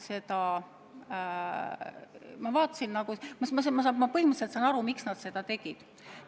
Ma põhimõtteliselt saan aru, miks nad seda tegid.